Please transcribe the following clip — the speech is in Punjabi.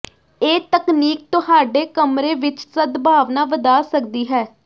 ਇਹ ਤਕਨੀਕ ਤੁਹਾਡੇ ਕਮਰੇ ਵਿੱਚ ਸਦਭਾਵਨਾ ਵਧਾ ਸਕਦੀ ਹੈ